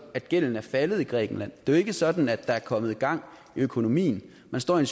at gælden er faldet i grækenland det er jo ikke sådan at der er kommet gang i økonomien man står i